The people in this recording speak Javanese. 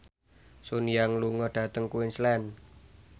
Sun Yang lunga dhateng Queensland